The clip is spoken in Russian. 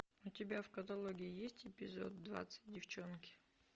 у тебя в каталоге есть эпизод двадцать девчонки